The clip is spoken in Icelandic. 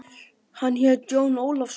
Hann hét Jón Ólafsson.